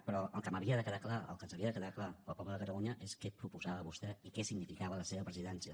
però el que m’havia de quedar clar el que ens havia de quedar clar al poble de catalunya és què proposava vostè i què significava la seva presidència